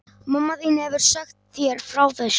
Og mamma þín hefur sagt þér frá þessu?